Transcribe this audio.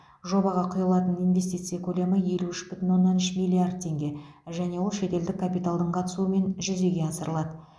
жобаға құйылатын инвестиция көлемі елу үш бүтін оннан үш миллиард теңге және ол шетелдік капиталдың қатысуымен жүзеге асырылады